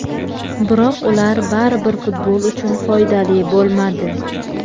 Biroq ular baribir futbol uchun foydali bo‘lmadi.